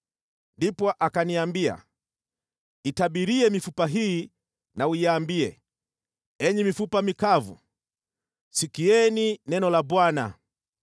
Ndipo akaniambia, “Itabirie mifupa hii na uiambie, ‘Enyi mifupa mikavu, sikieni neno la Bwana !